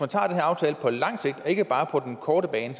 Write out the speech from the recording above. tager den aftale på lang sigt ikke bare på den korte bane